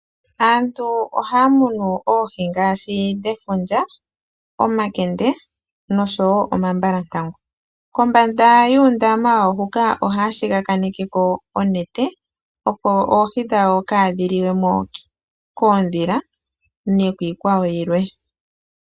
Aantu ohaya munu oohi ngaashi dhefundja, omakende nosho wo omambalantangu. Kombanda yuundama wawo ohaya siikile ko onete, opo oohi dhawo kaadhi liwe mo koondhila nokiikwawo yilwe.